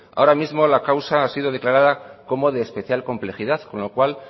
ahora mismo la causa ha sido declarada como de especial complejidad con lo cual